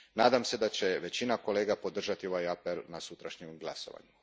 Nadam se da će većina kolega podržati ovaj apel na sutrašnjem glasovanju.